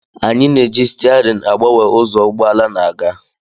Anyị na-eji stiaarịn agbanwe ụzọ ụgbọ ala na-aga